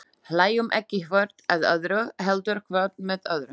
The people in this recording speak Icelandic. Hlæjum ekki hvort að öðru, heldur hvort með öðru.